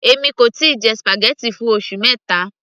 èmi kò tíì jẹ spaghetti fún oṣù mẹta